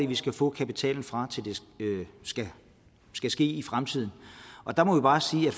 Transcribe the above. vi skal få kapitalen fra når det skal ske i fremtiden der må vi bare sige at